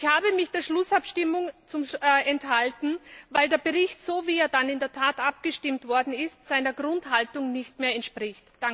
Ich habe mich bei der Schlussabstimmung enthalten, weil der Bericht so, wie er dann in der Tat abgestimmt worden ist, seiner Grundhaltung nicht mehr entspricht.